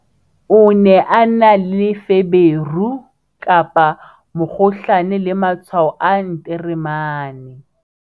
o ne a na le feberu, mokgohlane le matshwao a nteremane